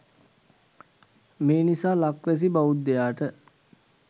මේ නිසා ලක්වැසි බෞද්ධයාට